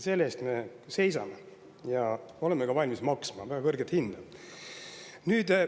Selle eest me seisame ja me oleme valmis maksma ka väga kõrget hinda.